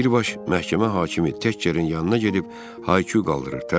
Birbaş məhkəmə hakimi Təkçerin yanına gedib Haki qaldırır.